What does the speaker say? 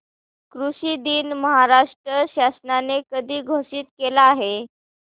कृषि दिन महाराष्ट्र शासनाने कधी घोषित केला आहे